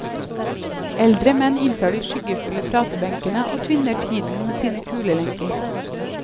Eldre menn inntar de skyggefulle pratebenkene og tvinner tiden med sine kulelenker.